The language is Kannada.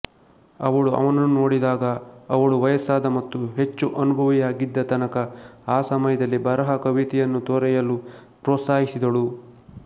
ಅವಳು ಅವನನ್ನು ನೋಡಿದಾಗ ಅವಳು ವಯಸ್ಸಾದ ಮತ್ತು ಹೆಚ್ಚು ಅನುಭವಿಯಾಗಿದ್ದ ತನಕ ಆ ಸಮಯದಲ್ಲಿ ಬರಹ ಕವಿತೆಯನ್ನು ತೊರೆಯಲು ಪ್ರೋತ್ಸಾಹಿಸಿದಳು